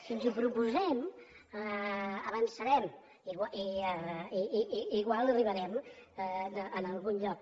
si ens ho proposem avançarem i igual arribarem a algun lloc